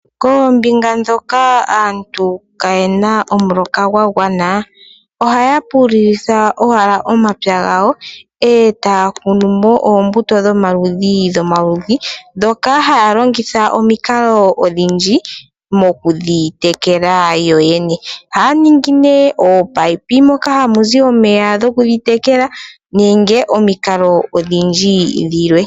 Koombinga dhoka aantu kaayena omuloka gwagwana ohaya pululitha omapya gawo etaya kunumo oombuto dhomaludhi ga yooloka. Ohaya longitha omikalo odhindji okudhi tekela ngaashi okutekela noopayipi.